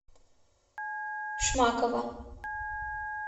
шмакова